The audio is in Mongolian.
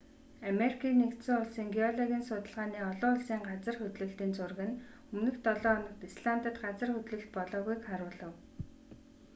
америкийн нэгдсэн улсын геологийн судалгааны олон улсын газар хөдлөлтийн зураг нь өмнөх долоо хоногт исландад газар хөдлөлт болоогүйг харуулав